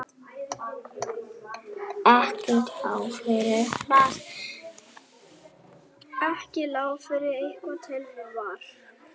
Ekki lá fyrir hvað tilefnið var